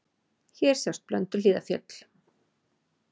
Hér sjást Blönduhlíðarfjöll.